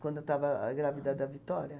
Quando eu estava grávida da Vitória.